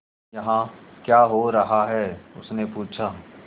यहाँ क्या हो रहा है उसने पूछा